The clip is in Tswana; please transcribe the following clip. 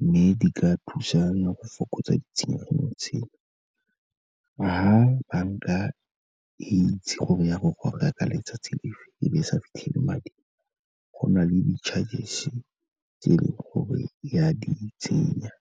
mme di ka thusa le go fokotsa ditshenyegelo tsena. Fa banka e itse gore ya go goga ka letsatsi le fe e be e sa fitlhele madi, go na le di-chargers tse e leng gore ya di tsenya.